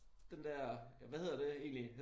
Den der hvad hedder det egentlig